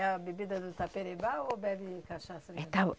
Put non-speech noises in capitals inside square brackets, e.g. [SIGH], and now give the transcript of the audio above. É a bebida do taperebá ou bebe cachaça mesmo? [UNINTELLIGIBLE]